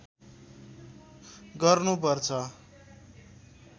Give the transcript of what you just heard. गर्नु पर्छ